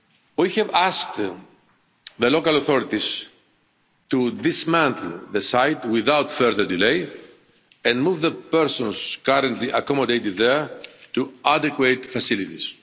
that. We have asked the local authorities to dismantle the site without further delay and to move the persons currently accommodated there to adequate facilities.